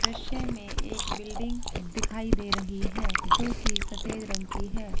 दृश्य में एक बिल्डिंग दिखाई दे रही है जो कि सफ़ेद रंग की है।